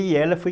E ela foi...